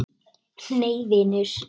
Nei vinur.